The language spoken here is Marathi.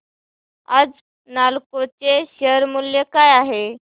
आज नालको चे शेअर मूल्य काय आहे